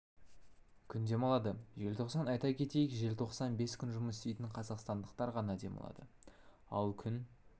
күн демалады желтоқсан айта кетейік желтоқсан бес күн жұмыс істейтін қазақстандықтар ғана демалады ал күн